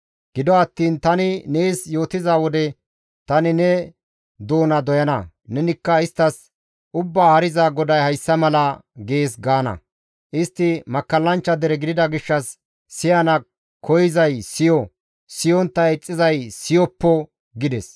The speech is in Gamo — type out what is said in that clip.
Gido attiin tani nees yootiza wode tani ne doona doyana; nenikka isttas, ‹Ubbaa Haariza GODAY hayssa mala gees› gaana. Istti makkallanchcha dere gidida gishshas siyana koyzay siyo; siyontta ixxizay siyoppo» gides.